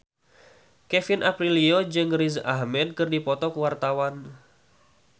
Kevin Aprilio jeung Riz Ahmed keur dipoto ku wartawan